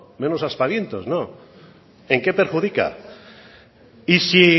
menos aspavientos no en qué perjudica y sí